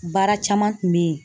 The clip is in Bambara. Baara caman kun bɛ yen